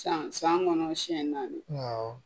San san kɔnɔ siɲɛ naani